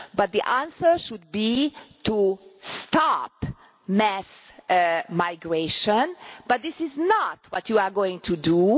The answer should be to stop mass migration, but this is not what you are going to do.